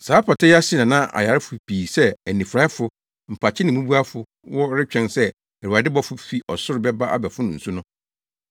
Saa pata yi ase na na ayarefo pii sɛ, anifuraefo, mpakye ne mmubuafo wɔ retwɛn sɛ Awurade bɔfo fi ɔsoro bɛba abɛfono nsu no.